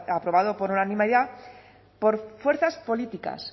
aprobado por unanimidad por fuerzas políticas